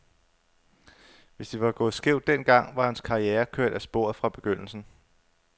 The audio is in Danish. Hvis det var gået skævt den gang, var hans karriere kørt af sporet fra begyndelsen.